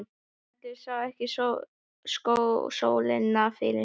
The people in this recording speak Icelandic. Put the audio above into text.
Haraldur sá ekki sólina fyrir henni.